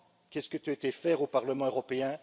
qu'est ce que tu as été faire au Parlement européen?